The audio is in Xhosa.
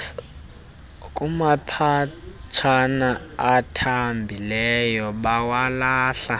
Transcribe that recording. kumaphetshana athambileyo bawalahle